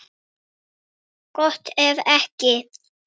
Gott ef ekki.